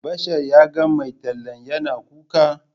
Bashar ya ga mai tallan yana kuka.